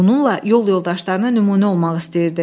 Bununla yol yoldaşlarına nümunə olmaq istəyirdi.